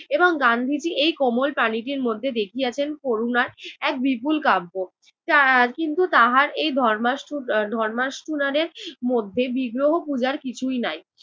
এবং গান্ধীজি এই কোমল প্রাণীটির মধ্যে দেখিয়াছেন করুণার এক বিপুল কাব্য। এর কিন্তু তাহার এই ধর্মাষ্ঠু~ এর ধর্মাষ্ঠুণানের মধ্যে বিগ্রহ পুজার কিছুই নাই।